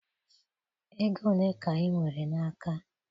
Ego ole ka ị nwere n'aka?